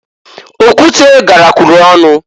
Okwute garakwuru ọnụ.